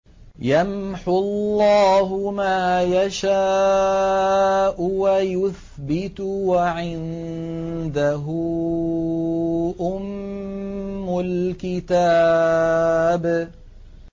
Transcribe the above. يَمْحُو اللَّهُ مَا يَشَاءُ وَيُثْبِتُ ۖ وَعِندَهُ أُمُّ الْكِتَابِ